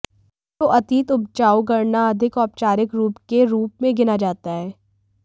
तो अतीत उपजाऊ गणना अधिक औपचारिक रूप के रूप में गिना जाता है